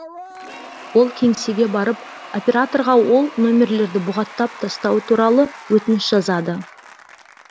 ол кеңсеге барып операторға ол нөмерлерді бұғаттап тастау туралы өтініш жазады